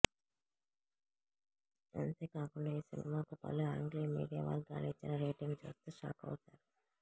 అంతే కాకుండా ఈ సినిమాకు పలు ఆంగ్లీ మీడియా వర్గాలు ఇచ్చిన రేటింగ్ చూస్తే షాకవుతారు